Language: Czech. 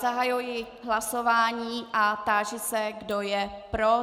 Zahajuji hlasování a táži se, kdo je pro.